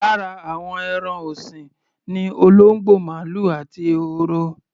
Lára àwọn ẹran ọ̀sìn ni olóńgbò, màlúù àti ehoro.